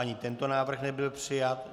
Ani tento návrh nebyl přijat.